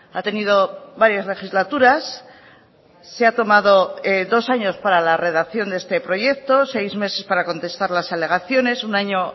ha tenido varias legislaturas se ha tomado dos años para la redacción de este proyecto seis meses para contestar las alegaciones un año